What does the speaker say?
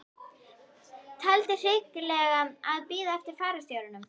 Taldi hyggilegra að bíða eftir fararstjóranum.